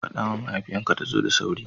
Fada ma mahaifiyan ka ta zo da sauri.